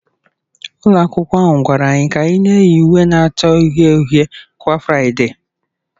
Ụlọ akwụkwọ ahụ gwara anyị ka anyị na-eyi uwe na-acha uhie uhie kwa Fraịdee